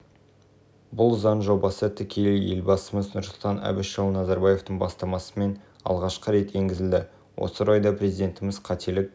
бұл заң жобасы тікелей елбасымыз нұрсұлтан әбішұлы назарбаевтың бастамасымен алғашқы рет енгізілді осы орайда президентіміз қателік